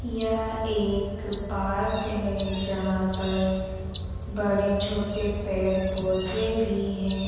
यह एक पार्क है जहां पर बड़े छोटे पेड़ पौधे भी हैं।